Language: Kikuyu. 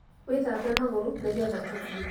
Wĩthambe magũrũnĩgetha tũthiĩ